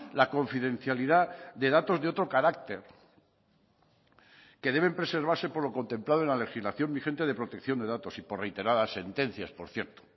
la confidencialidad de datos de otro carácter que deben preservarse por lo contemplado en la legislación vigente de protección de datos y por reiteradas sentencias por cierto